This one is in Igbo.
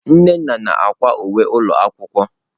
Nnenna na-akwa uwe ụlọ akwụkwọ.